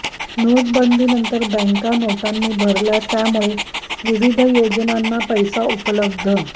नाेटाबंदीनंतर बॅका नाेटांनी भरल्या त्यामुळे विविध याेजनांना पैसा उपलब्ध